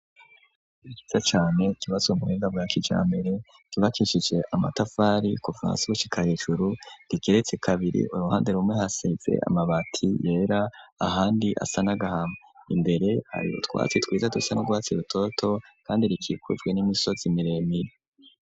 Ishure ryiza cane kibazo muwenda brakijambere kibakishije amatafari kuvasushikahecuru rigeretse kabiri uruhande rumwe haseze amabati yera ahandi asanagahama imbere hari twatsi twiza dusa no guhatsi rutoto kandi rikikujwe n'imisozi miremire.